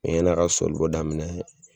Ɛ ɲa n'a ka sɔlibɔ daminɛ